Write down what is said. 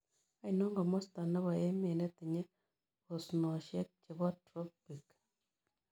Ainon komosta ne po emet netinye osnosiek chebo tropik